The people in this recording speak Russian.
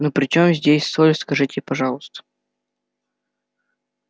ну при чём здесь соль скажите пожалуйста